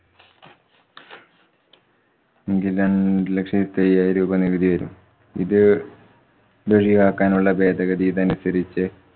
എങ്കില്‍ രണ്ടു ലക്ഷത്തി അയ്യായിരം രൂപ നികുതി വരും. ഇത്~ ഇതൊഴിവാക്കാനുള്ള ഭേദഗതി ഇതനുസരിച്ച്